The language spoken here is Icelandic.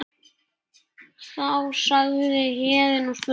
Þá sagði Héðinn og spurði